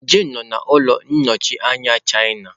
Jane nọ n'ụlọ ọrụ nnọchiteanya China.